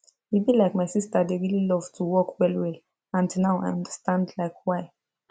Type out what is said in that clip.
e be like my sister dey really love to walk well well and now i understand like why